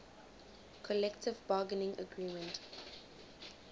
collective bargaining agreement